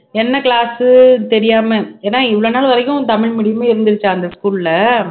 என்ன class உ தெரியாம ஏன்னா இவ்வளவு நாள் வரைக்கும் தமிழ் medium ஏ இருந்திருச்சா அந்த school அ